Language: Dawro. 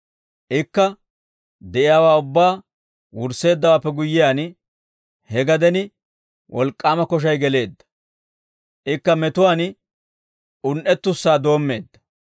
Ikka de'iyaawaa ubbaa wursseeddawaappe guyyiyaan he gaden wolk'k'aama koshay geleedda; ikka metuwaan un"ettussaa doommeedda.